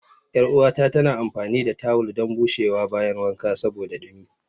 Yar uwata tana amfani da tawul don bushewa bayan wanka saboda dumi